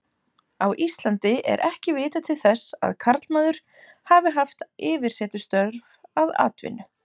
Á Íslandi er ekki vitað til þess að karlmaður hafi haft yfirsetustörf að aðalatvinnu.